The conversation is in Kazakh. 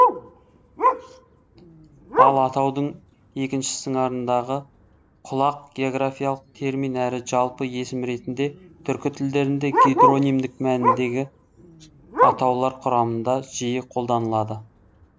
ал атаудың екінші сыңарындағы құлақ географиялық термин әрі жалпы есім ретінде түркі тілдерінде гидронимдік мәніндегі атаулар құрамында жиі қолданылады